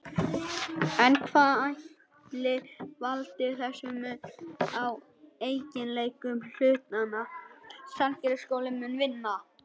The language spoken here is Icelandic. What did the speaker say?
En hvað ætli valdi þessum mun á eiginleikum hlutanna?